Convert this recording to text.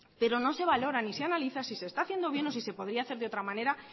pero no se valora ni se analiza si se está haciendo bien o si se podría hacer de otra manera